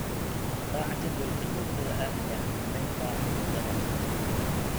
Raac jadwalka joogtada ah ee xakameynta cudurrada.